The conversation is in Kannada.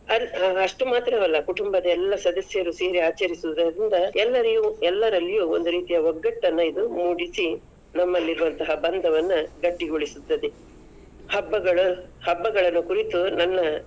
ಅಲ್~ ಅಷ್ಟು ಮಾತ್ರವಲ್ಲ ಕುಟುಂಬದ ಎಲ್ಲ ಸದಸ್ಯರು ಸೇರಿ ಆಚರಿಸುವುದರಿಂದ, ಎಲ್ಲರಿಗೂ ಎಲ್ಲರಲ್ಲಿಯೂ ಒಂದು ರೀತಿಯ ಒಗಟ್ಟನ್ನ ಇದು ಮೂಡಿಸಿ, ನಮ್ಮಲ್ಲಿರುವಂತಹ ಭಂದವನ್ನ ಗಟ್ಟಿಗೊಳಿಸುತ್ತದೆ. ಹಬ್ಬಗಳ, ಹಬ್ಬಗಳನ್ನು ಕುರಿತು ನನ್ನ.